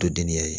To denniya ye